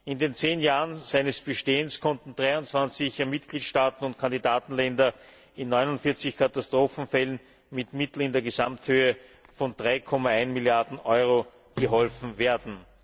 In den zehn Jahren seines Bestehens konnte 23 Mitgliedstaaten und Kandidatenländern in 49 Katastrophenfällen mit Mitteln in der Gesamthöhe von 3,1 Milliarden Euro geholfen werden.